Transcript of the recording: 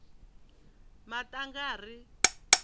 maṱangari